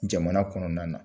Jamana kɔnɔna na.